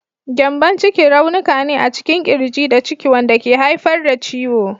Gyambon ciki raunuka ne a cikin ƙirji da ciki wanda ke haifar da ciwo.